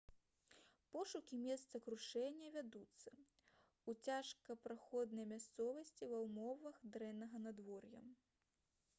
пошукі месца крушэння вядуцца ў цяжкапраходнай мясцовасці ва ўмовах дрэннага надвор'я